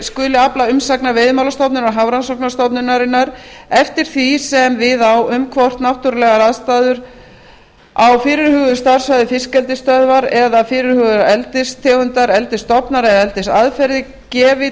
skuli afla umsagnar veiðimálastofnunar og hafrannsóknastofnunarinnar eftir því sem við á um hvort náttúrulegar aðstæður á fyrirhuguðu starfssvæði fiskeldisstöðvar eða fyrirhugaðar eldistegundir eldisstofnar eða eldisaðferðir gefi